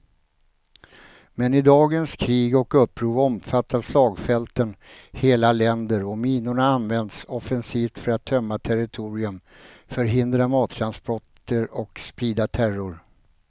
Men i dagens krig och uppror omfattar slagfälten hela länder och minorna används offensivt för att tömma territorium, förhindra mattransporter och sprida terror.